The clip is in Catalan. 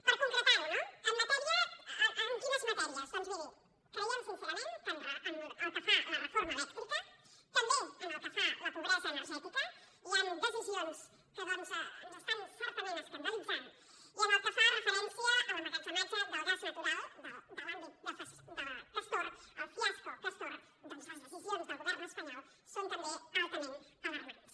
per concretar·ho no en quines matèries doncs miri creiem sincerament que pel que fa a la reforma elèc·trica també pel que fa a la pobresa energètica hi han decisions que certament ens escandalitzen i pel que fa referència a l’emmagatzematge del gas natural de l’àmbit castor el fiasco castor les decisions del go·vern espanyol són també altament alarmants